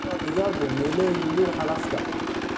Lafaha digaagu ma leeyihiin dhuuxa lafta?